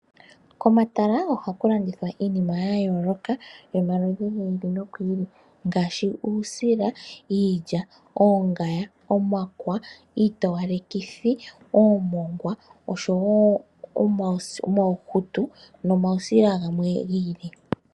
Komatala ohaku landithwa iinima ya yooloka yomaludhi giili nogiili ngaashi uusila, iilya, oongaya, omakwa, iitowalekithi, oomongwa osho woo omauhutu nomau sila gamwe giili.